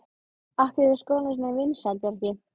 Af hverju er skólinn svona vinsæll, Bjarki?